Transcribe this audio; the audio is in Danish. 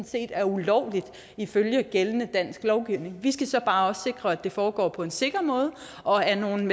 set er ulovligt ifølge gældende dansk lovgivning vi skal så bare sikre at det foregår på en sikker måde og af nogle